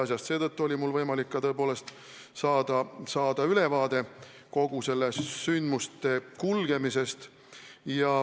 Nii et mul oli võimalik saada ülevaade kogu selle sündmuse kulgemisest.